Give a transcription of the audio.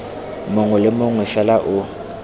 mongwe le mongwe fela o